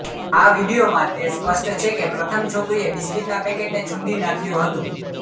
આ વિડીયોમાં તે સ્પષ્ટ છે કે પ્રથમ છોકરીએ બિસ્કિટના પેકેટને છુંદી નાંખ્યું હતું